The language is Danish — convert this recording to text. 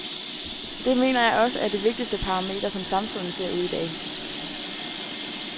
Det mener jeg også er det vigtigste parameter, som samfundet ser ud i dag.